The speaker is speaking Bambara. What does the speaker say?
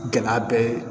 Gɛlɛya bɛɛ ye